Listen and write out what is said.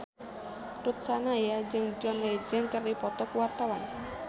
Ruth Sahanaya jeung John Legend keur dipoto ku wartawan